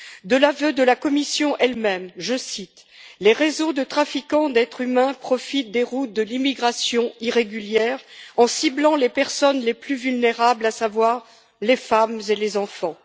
De l'aveu de la Commission, elle même, je cite les réseaux de trafiquants d'êtres humains profitent des routes de l'immigration irrégulière en ciblant les personnes les plus vulnérables, à savoir les femmes et les enfants.